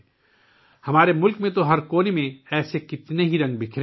ہمارے ملک میں ایسے بے شمار رنگ ہر کونے میں بکھرے پڑے ہیں